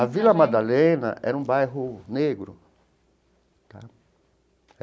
A Vila Madalena era um bairro negro tá.